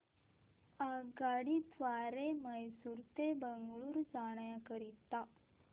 आगगाडी द्वारे मैसूर ते बंगळुरू जाण्या करीता